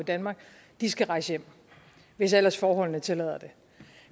i danmark skal rejse hjem hvis ellers forholdene tillader det